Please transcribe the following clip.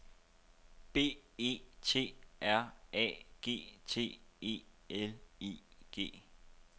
B E T R A G T E L I G